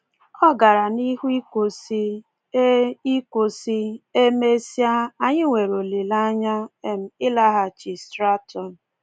Ọ gara n’ihu ikwu sị: “E ikwu sị: “E mesịa, anyị nwere olileanya um ịlaghachi Stratton.